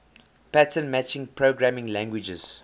pattern matching programming languages